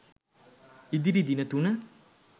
ඉදිරි දින තුන